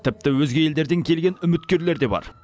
тіпті өзге елдерден келген үміткерлер де бар